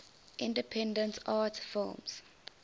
independent art films